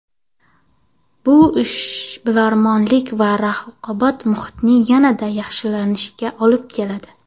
Bu ishbilarmonlik va raqobat muhitining yanada yaxshilanishiga olib keladi.